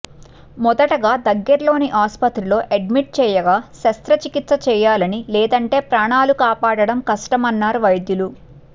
మొదటగా దగ్గర్లోని అసుపత్రిలో అడ్మిట్ చేయగా శస్త్ర చికిత్స చేయాలని లేదంటే ప్రాణాలు కాపాడటం కష్టమన్నారు వైద్యులు